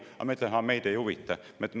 " Aga teie ütlete: "Meid ei huvita!